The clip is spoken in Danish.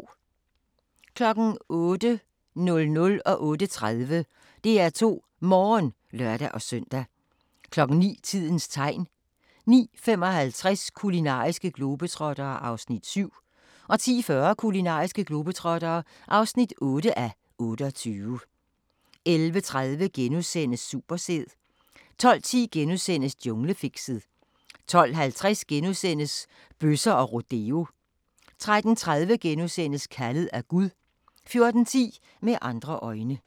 08:00: DR2 Morgen (lør-søn) 08:30: DR2 Morgen (lør-søn) 09:00: Tidens Tegn 09:55: Kulinariske globetrottere (7:28) 10:40: Kulinariske globetrottere (8:28) 11:30: Supersæd * 12:10: Junglefixet * 12:50: Bøsser og rodeo * 13:30: Kaldet af Gud * 14:10: Med andre øjne